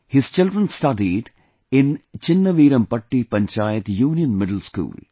Her children studied in Chinnaveerampatti Panchayat Union Middle School